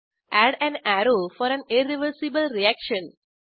add an arrow for an irreversible reaction